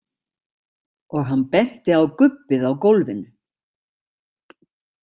Og hann benti á gubbið á gólfinu.